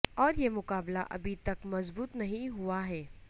اور یہ مقابلہ ابھی تک مضبوط نہیں ہوا ہے